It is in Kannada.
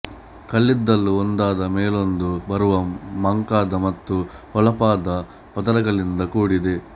ಕಲ್ಲಿದ್ದಲು ಒಂದಾದ ಮೇಲೊಂದು ಬರುವ ಮಂಕಾದ ಮತ್ತು ಹೊಳಪಾದ ಪದರಗಳಿಂದ ಕೂಡಿದೆ